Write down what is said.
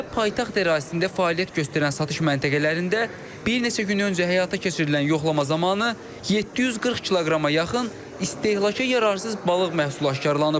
Elə paytaxt ərazisində fəaliyyət göstərən satış məntəqələrində bir neçə gün öncə həyata keçirilən yoxlama zamanı 740 kiloqrama yaxın istehlaka yararsız balıq məhsulu aşkarlanıb.